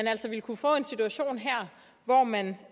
altså ville kunne få en situation her hvor man